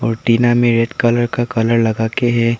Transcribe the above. टिना में red colour का कलर लगाके है।